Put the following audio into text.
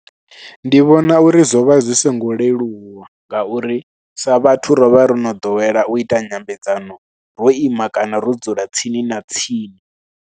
Ndi vhona uri zwo vha zwi songo leluwa ngauri sa vhathu ro vha ro no ḓowela u ita nyambedzano ro ima kana ro dzula tsini na tsini.